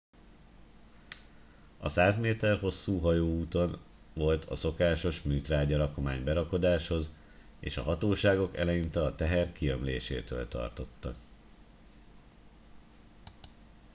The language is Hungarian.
a 100 méter hosszú hajó úton volt a szokásos műtrágya rakomány berakodáshoz és a hatóságok eleinte a teher kiömlésétől tartottak